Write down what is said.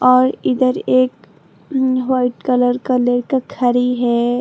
और इधर एक वाइट कलर का लेके खड़ी है।